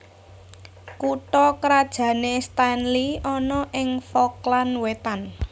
Kutha krajané Stanley ana ing Falkland Wétan